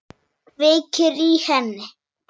Kveikir í henni.